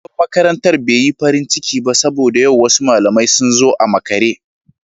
Shugaban makarantar bai yi farin ciki ba saboda wasu malamai sun zo a makare.